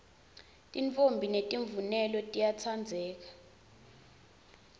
titfombi temvunelo tiyatsandzeka